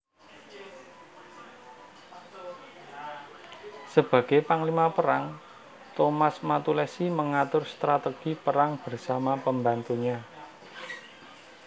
Sebagai panglima perang Thomas Matulessy mengatur strategi perang bersama pembantunya